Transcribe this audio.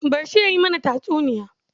Bar shi ya yi mana tatsuniya.